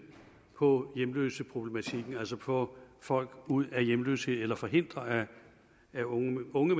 på hjemløseproblematikken altså få folk ud af hjemløshed eller forhindre at unge unge